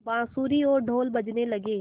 बाँसुरी और ढ़ोल बजने लगे